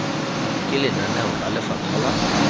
ke lenaneo la lefapha la